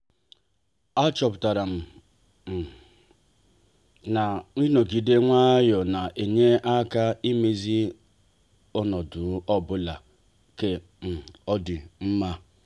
a chọpụtara um m na-inogide nwayọọ ne-enye aka imezi ọnọdụ ọbụla ka um ọ dị mma.